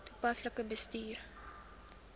toepaslik bestuur